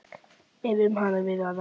ef um hann hefur verið að ræða.